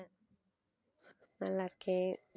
நல்லா இருக்கேன்